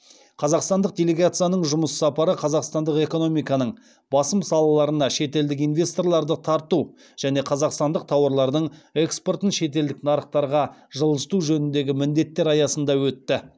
қазақстандық делегацияның жұмыс сапары қазақстандық экономиканың басым салаларына шетелдік инвесторларды тарту және қазақстандық тауарлардың экспортын шетелдік нарықтарға жылжыту жөніндегі міндеттер аясында өтті